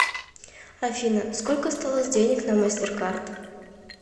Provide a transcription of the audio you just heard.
афина сколько осталось денег на мастеркард